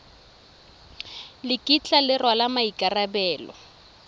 le kitla le rwala maikarabelo